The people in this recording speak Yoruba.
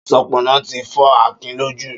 Ṣọpọnọ ti fọ Akin lójù